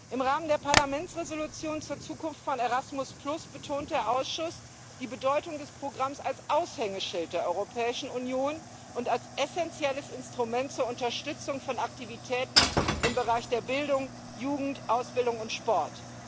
Im Rahmen der Parlamentsresolution zur Zukunft von Erasmus betont der Ausschuss die Bedeutung des Programms als Aushängeschild der Europäischen Union und als essenzielles Instrument zur Unterstützung von Aktivitäten in den Bereichen Bildung, Jugend, Ausbildung und Sport.